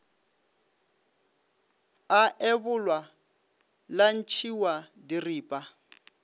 a ebolwa la ntšhiwa diripa